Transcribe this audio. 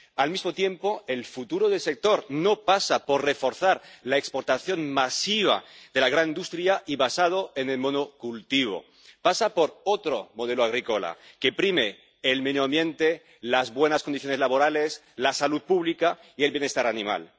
Al mismo tiempo, el futuro del sector no pasa por reforzar la exportación masiva de la gran industria, basada en el monocultivo, pasa por otro modelo agrícola que prime el medio ambiente, las buenas condiciones laborales, la salud pública y el bienestar animal.